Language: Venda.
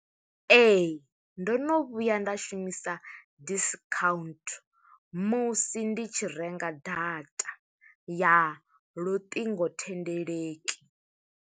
Ee, ndo no vhuya nda shumisa discount, musi ndi tshi renga data ya luṱingothendeleki.